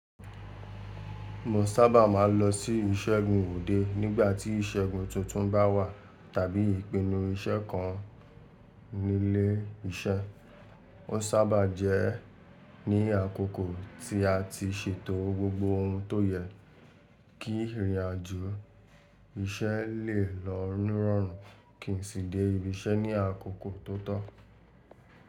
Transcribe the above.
Mo sábà máa ń lọ sí ìṣẹ́gun òde nígbà tí ìṣẹ́gun tuntun bá wà, tàbí ìpinnu iṣẹ́ kan nílé iṣẹ́. Ó sábà jẹ́ ní àkókò tí a ti ṣètò gbogbo ohun tó yẹ kí ìrìnàjò iṣẹ́ lè lọ ni rọ̀rùn kìí sì dé ibi iṣẹ́ ní àkókò tó tọ́.